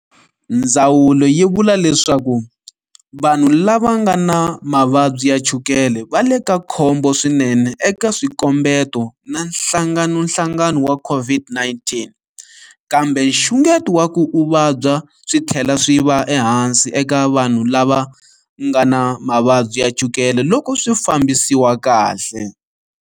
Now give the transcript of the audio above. Ndzawulo yi vula leswaku vanhu lava nga na mavabyi ya chukele va le ka khombo swinene eka swikombeto na hlanganohlangano wa COVID-19, kambe nxungeto wa ku u vabya switlhela swi va ehansi eka vanhu lava nga na mavabyi ya chukele loko swifambisiwa kahle.